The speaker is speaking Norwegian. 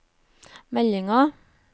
meldinger